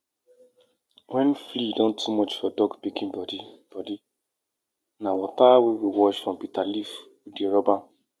dey use thermal composting method to make sure say compost no get compost no get bad bacteria before you add am inside soil